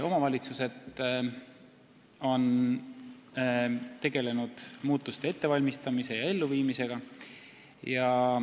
Omavalitsused on tegelenud muutuste ettevalmistamise ja elluviimisega.